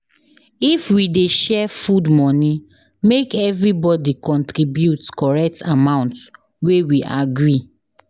If we dey share food money, make everybody contribute correct amount wey we agree.